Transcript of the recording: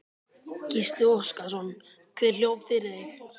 Gísli Óskarsson: Hver hljóp fyrir þig?